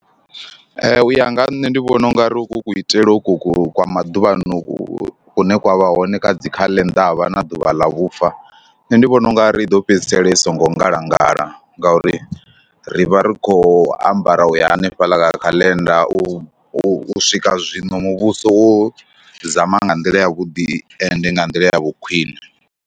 Ee u ya nga ha nṋe ndi vhona u nga ri uku kuitele uku ku kwa maduvha ano ku kune kwa vha hone kha dzi khaḽenda na ḓuvha ḽa vhufa nṋe, ndi vhona u nga ri i ḓo fhedzisela i songo ngalangala ngauri ri vha ri khou ambara u ya hanefhaḽa kha khaḽenda. U swika zwino muvhuso wo zama nga nḓila yavhuḓi ende nga nḓila ya vhukhwiṋe.